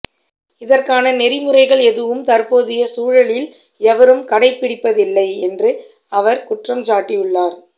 இதற்கான நெறிமுறைகள் எதுவும் தற்போதைய சூழலில் எவரும் கடைபிடிப்பதில்லை என்று அவர் குற்றஞ்சாட்டியுள்ளார்